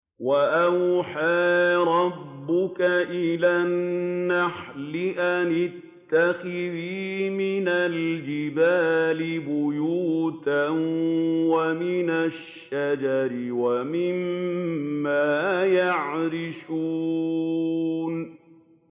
وَأَوْحَىٰ رَبُّكَ إِلَى النَّحْلِ أَنِ اتَّخِذِي مِنَ الْجِبَالِ بُيُوتًا وَمِنَ الشَّجَرِ وَمِمَّا يَعْرِشُونَ